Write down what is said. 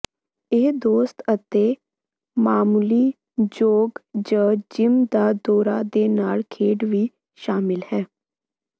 ਇਹ ਦੋਸਤ ਅਤੇ ਮਾਮੂਲੀ ਜੋਗ ਜ ਜਿੰਮ ਦਾ ਦੌਰਾ ਦੇ ਨਾਲ ਖੇਡ ਵੀ ਸ਼ਾਮਲ ਹੈ